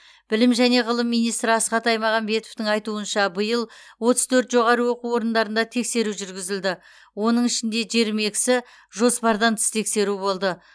білім және ғылым министрі асхат аймағамбетовтің айтуынша биыл отыз төрт жоғары оқу орындарында тексеру жүргізілді оның ішінде жиырма екісі жоспардан тыс тексеру болды